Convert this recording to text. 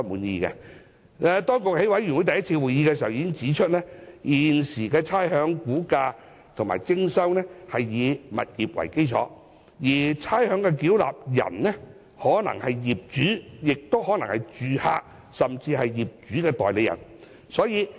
當局在小組委員會第一次會議上已經指出，現時差餉估價及徵收是以物業為基礎，而差餉繳納人可能是業主、租客或業主代理人。